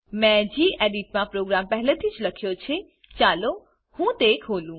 મેં ગેડિટ માં પ્રોગામ પહેલેથીજ લખ્યો છે ચાલો હું તે ખોલું